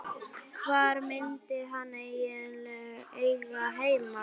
Hvar myndi hann eiga heima?